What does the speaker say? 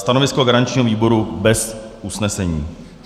Stanovisko garančního výboru: bez usnesení.